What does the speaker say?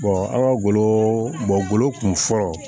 an ka golo golo kun fɔlɔ